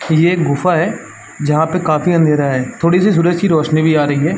ये एक गुफ़ा है। जहाँ पे काफी अंधेरा है। थोड़ी सी सूरज की रोशनी भी आ रही है।